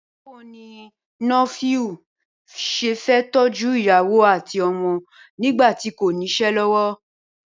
Báwo ni Nofiu s̩e fé̩ tó̩jú ìyàwó àti o̩mo̩ nígbà tí kò nís̩é̩ ló̩wó̩?